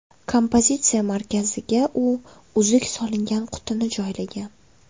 Kompozitsiya markaziga u uzuk solingan qutini joylagan.